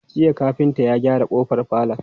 Jiya kafinta ya gyara kofar falon?